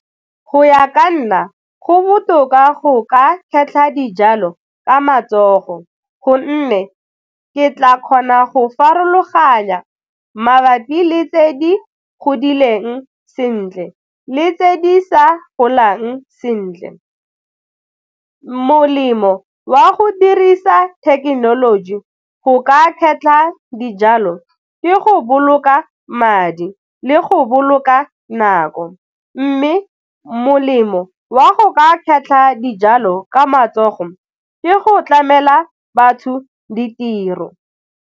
Go ya ka nna go botoka go ka kgetlha dijalo ka matsogo gonne ke tla kgona go farologanya mabapi le tse di godileng sentle le tse di sa golang sentle, molemo wa go dirisa thekenoloji go ka kgetlha dijalo ke go boloka madi le go boloka nako mme molemo wa go ka kgetlha dijalo ka matsogo ke go tlamela batho ditiro.